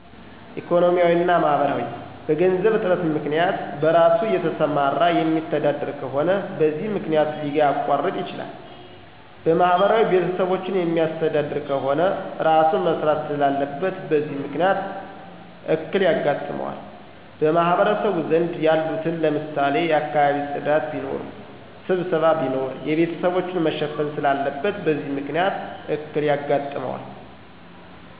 ኢኮኖሚያዊ እና ማህበራዊ፦ በገንዘብ እጥረት ምክንያት፣ በእራሱ እየሰራየማተዳደር ከሆነ በዚህ መክንያት ሊያቋርጥ ይችላል። በማህበራዊ ቤተሰቦቹን ሚያሥተዳድር ከሆነ እራሡ መሥራት ስላለበት በዚህ ምክንያት እክል የጋጥመዋል። በማህበረሰቡ ዘንድ ያሉትን ለምሳሌ የአካባቢ ጽዳት ቢኖር፣ ሥብሠባ ቢኖር የቤተሰቦቹን መሸፈን ስላለበት በዚህ ምክንያት እክል ያጋጥነዋል።